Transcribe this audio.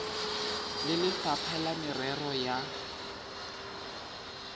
le lefapha la merero ya